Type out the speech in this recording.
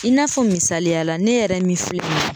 I n'a fɔ misaliya la ne yɛrɛ min filɛ nin ye